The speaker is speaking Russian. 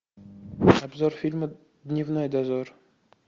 обзор фильма дневной дозор